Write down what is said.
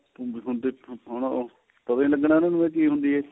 ਹੁਣ ਦੇਖੋ ਹੁਣ ਉਹ ਪਤਾ ਈ ਨਹੀਂ ਲੱਗਣਾ ਇੰਨਾ ਨੂੰ ਕੀ ਹੁੰਦੀ ਏ